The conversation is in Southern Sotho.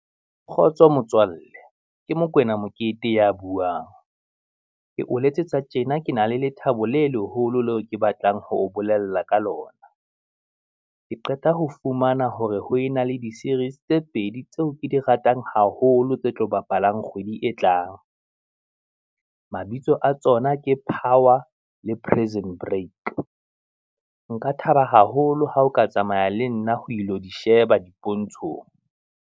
Kgotso motswalle, ke Mokoena Mokete ya buang, ke o letsetsa tjena ke na le lethabo le leholo leo ke batlang ho o bolella ka lona, ke qeta ho fumana hore ho ena le di series tse pedi tseo ke di ratang haholo tse tlo bapalang kgwedi e tlang. Mabitso a tsona ke power le prison break. Nka thaba haholo ha o ka tsamaya le nna ho ilo di sheba dipontshong.